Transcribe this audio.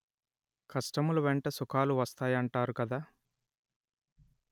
కష్టముల వెంట సుఖాలు వస్తాయి అంటారు కదా